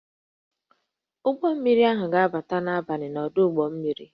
Ụgbọ mmiri ahụ ga-abata n'abalị n'ọdụ ụgbọ mmiri